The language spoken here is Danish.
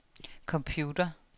computer